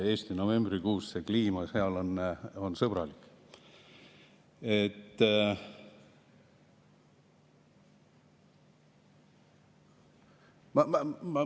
Novembrikuus on kliima seal sõbralik.